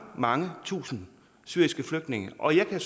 mange tusinde syriske flygtninge og jeg